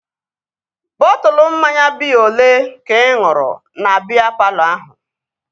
Bọtụlu mmanya biya olee ka ị ṅụrụ na biya palọ ahụ?